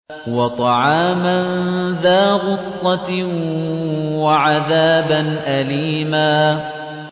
وَطَعَامًا ذَا غُصَّةٍ وَعَذَابًا أَلِيمًا